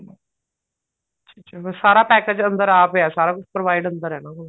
ਅੱਛਾ ਬੱਸ ਸਾਰਾ package ਅੰਦਰ ਆ ਪਿਆ ਸਾਰਾ ਕੁੱਛ provide ਅੰਦਰ ਐ ਇਹਨਾ ਕੋਲ